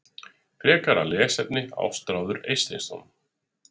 Frekara lesefni: Ástráður Eysteinsson.